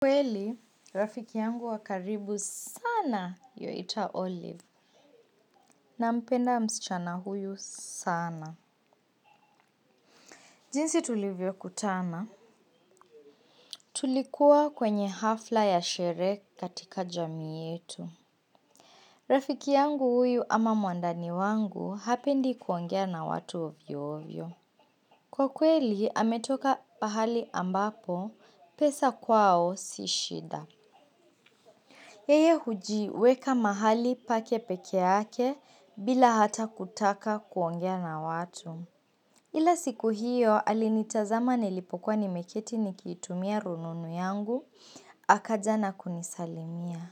Kweli, rafiki yangu wa karibu sana yuwaitwa Olive. Nampenda msichana huyu sana. Jinsi tulivyokutana. Tulikuwa kwenye hafla ya sherehe katika jamii yetu. Rafiki yangu huyu ama mwandani wangu hapendi kuongea na watu ovyoovyo. Kwa kweli anatoka pahali ambapo pesa kwao si shida. Yeye hujiweka mahali pake pekee yake bila hata kutaka kuongea na watu. Ila siku hiyo alinitazama nilipokuwa nimeketi nikitumia rununu yangu, akaja na kunisalimia.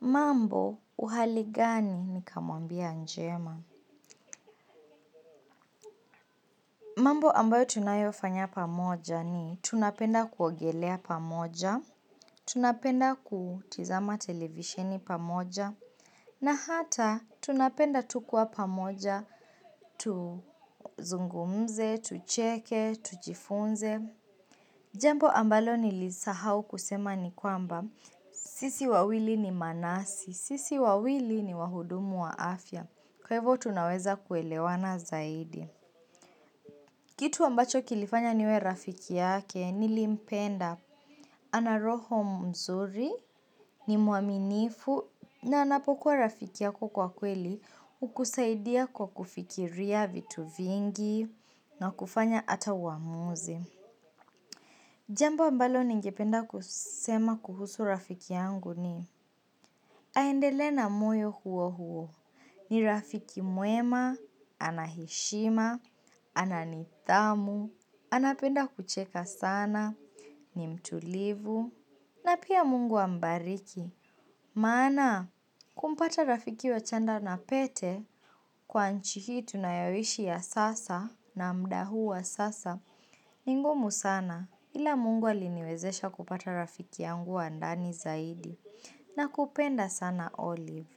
Mambo uhali gani nikamwambia njema? Mambo ambayo tunayofanya pamoja ni tunapenda kuogelea pamoja, tunapenda kutizama televisheni pamoja, na hata, tunapenda tu kuwa pamoja, tuzungumze, tucheke, tujifunze. Jambo ambalo nilisahau kusema ni kwamba, sisi wawili ni manasi, sisi wawili ni wahudumu wa afya. Kwa hivyo, tunaweza kuelewana zaidi. Kitu ambacho kilifanya niwe rafiki yake, nilimpenda. Ana roho mzuri, ni mwaminifu, na anapokuwa rafiki yako kwa kweli hukusaidia kwa kufikiria vitu vingi na kufanya hata uamuzi. Jamba ambalo ningependa kusema kuhusu rafiki yangu ni aendelee na moyo huo huo. Ni rafiki mwema, ana heshima, ana nidhamu, anapenda kucheka sana, ni mtulivu, na pia mungu ambariki. Maana, kumpata rafiki wa chanda na pete, kwa nchi hii tunayoishi ya sasa na muda huu wa sasa, ni ngumu sana ila Mungu aliniwezesha kupata rafiki yangu wa ndani zaidi, nakupenda sana olive.